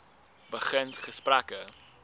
begin gesprekke